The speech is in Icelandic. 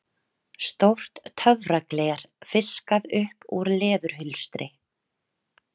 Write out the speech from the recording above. Stórt töfragler fiskað upp úr leðurhulstri